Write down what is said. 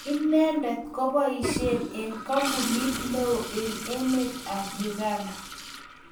Inendet koboishei eng kampunit neo eng emet ab Uganda